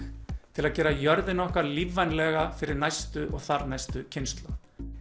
til að gera jörðina okkar lífvænlega fyrir næstu og þarnæstu kynslóð